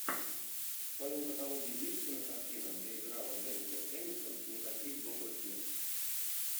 в твоем каталоге есть кинокартина где играла дженнифер энистон никаких добрых дел